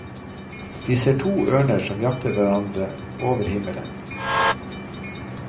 De ser to ørner som jakter hverandre over himmelen.